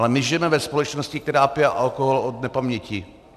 Ale my žijeme ve společnosti, která pije alkohol od nepaměti.